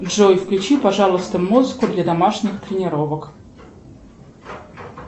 джой включи пожалуйста музыку для домашних тренировок